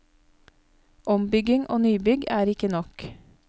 Ombygging og nybygg er ikke nok.